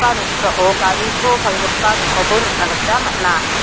noksao gari to palgipa dokanko nikna gita man·a.